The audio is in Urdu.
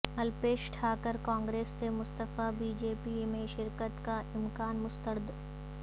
الپیش ٹھاکر کانگریس سے مستعفی بی جے پی میں شرکت کا امکان مسترد